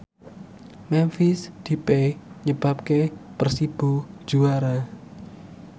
Memphis Depay nyebabke Persibo juara